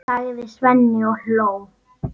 sagði Svenni og hló.